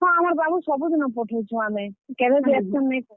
ହଁ, ଆମର୍ ବାବୁ ସବୁଦିନ ପଠଉଛୁଁ ଆମେ, କେଭେବି absent ନାଇ ହୁଏ।